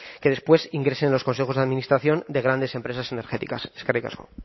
que después ingresen en los consejos de administración de grandes empresas energéticas eskerrik asko